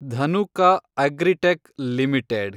Dhanuka agritech limited